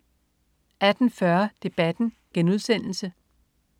18.40 Debatten*